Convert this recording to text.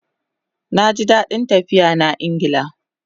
Naji dadin tafiya na Ingla